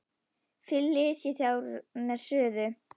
Flysjið þær þá fyrir suðu.